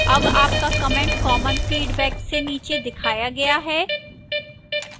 अब आपका comment common feedback से नीचे दिखाया गया है